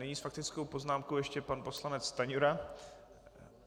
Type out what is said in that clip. Nyní s faktickou poznámkou ještě pan poslanec Stanjura.